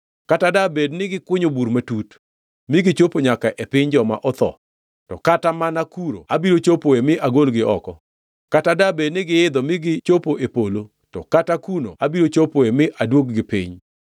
Kata dabed ni gikunyo bur matut mi gichopo nyaka e piny joma otho, to kata mana kuno abiro chopoe mi agolgi oko. Kata dabed ni giidho mi gichopo e polo, to kata kuno abiro chopoe mi aduog-gi piny.